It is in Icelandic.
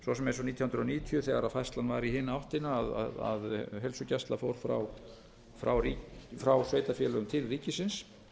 svo sem eins og nítján hundruð níutíu þegar færslan var í hina áttina að heilsugæsla fór frá sveitarfélögum til ríkisins